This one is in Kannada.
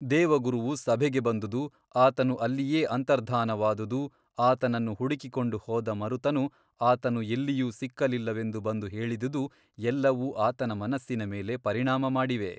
ದೇವಗುರುವು ಸಭೆಗೆ ಬಂದುದು ಆತನು ಅಲ್ಲಿಯೇ ಅಂತರ್ಧಾನವಾದುದು ಆತನನ್ನು ಹುಡುಕಿಕೊಂಡು ಹೋದ ಮರುತನು ಆತನು ಎಲ್ಲಿಯೂ ಸಿಕ್ಕಲಿಲ್ಲವೆಂದು ಬಂದು ಹೇಳಿದುದು ಎಲ್ಲವೂ ಆತನ ಮನಸ್ಸಿನ ಮೇಲೆ ಪರಿಣಾಮ ಮಾಡಿವೆ.